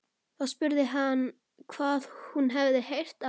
Þá spurði hann hvað hún hefði heyrt af henni.